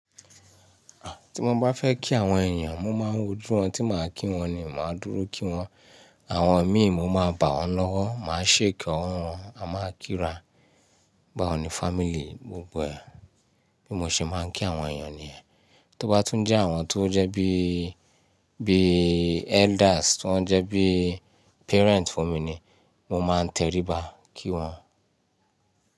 Tí mo bá fẹ́ kí àwọn èèyàn, mo máa ń wò ojú wọ́n tí màá kí wọn ni o, màá dúró kí wọ́n. Àwọn mi mo máa bá ọ́n lọ́wọ́, màá ṣèki ọwọ́ wọn, à máa kí ra. Bawò ní family gbogbo ẹ, bí mo ṣe máa ń kí àwọn èèyàn nìyẹn. Tó bá tún jẹ́ àwọn tó jẹ́ bí, bí elders, tó jẹ́ bí parent fún mi ni, mo máa ń tẹríba kí wọn.